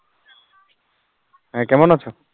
হেঁ কেমন আছো?